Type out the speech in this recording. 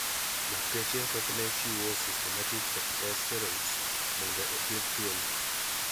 Lakteche thothne chiwo systemic corticosteroids mondo othieth tuo ni.